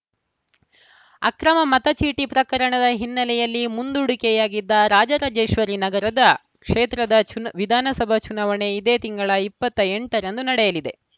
ಅಕ್ರಮ ಮತಚೀಟಿ ಪ್ರಕರಣದ ಹಿನ್ನೆಲೆಯಲ್ಲಿ ಮುಂದೂಡಿಕೆಯಾಗಿದ್ದ ರಾಜರಾಜೇಶ್ವರಿನಗರದ ಕ್ಷೇತ್ರದ ಚುನಾ ವಿಧಾನಸಭಾ ಚುನಾವಣೆ ಇದೇ ತಿಂಗಳ ಇಪ್ಪತ್ತ್ ಎಂಟರಂದು ನಡೆಯಲಿದೆ